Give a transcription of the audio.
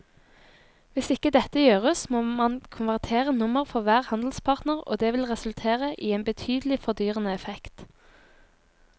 Hvis ikke dette gjøres må man konvertere nummer for hver handelspartner og det vil resultere i en betydelig fordyrende effekt.